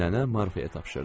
Nənə Marfaya tapşırdı.